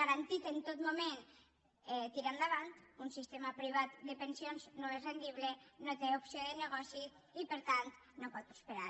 garantit en tot moment tira endavant un sistema privat de pensions no és rendible no té opció de negoci i per tant no pot prosperar